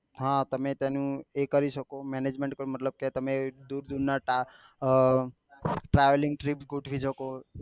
હા તમે તો એનું એ કરી શકો management કે મતલબ કે તમે દુર દુર ના task આ travelling trip ગોઠવી શકો